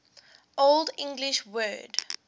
old english word